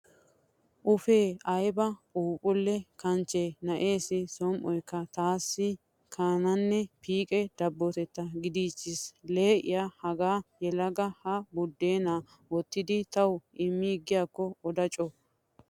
Uffe ayba phuuphulle kanchche na'eessi som"oykka taassi kanaanne piiqiya dabbotaa gidiichchiis. Leehiya hagaa yelaga ha buddeenan wottidi tawu immiigiyaakko oda co.